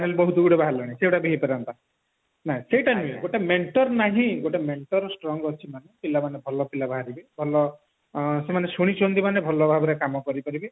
ସବୁ ବାହାରିଲାଣି ସେଗୁଡାକ ବି ହେଇପାରନ୍ତା ନା ସେଟା ନୁହଁ ଗୋଟେ mentor ନହିଁ ଗୋଟେ mentor strong ଅଛି ପିଲାମାନେ ଭଲ ପିଲା ବାହାରିବେ ଭଲ ସେମାନେ ଶୁଣିଛନ୍ତି ମାନେ ଭଲ ଭାବରେ କାମ କରିପାରିବେ